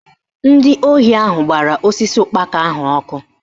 Ndị ohi ahụ gbara osisi ụkpaka ahụ ọkụ